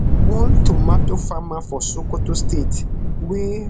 one tomato farmer for sokoto state wey